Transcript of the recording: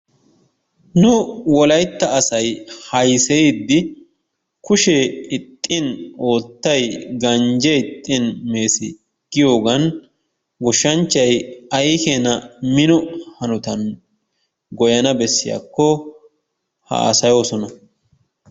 Nu wolaytta asay haysseyidi kushee ixxin oottay ganjje ixxin mees giyoogan goshshanchchay ay keena mino hanotan goyyana bessiyaakko haassayoosona.